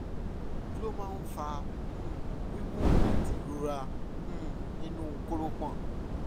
kí ló máa ń fa um wíwú àti ìrora um nínú kórópọọ̀?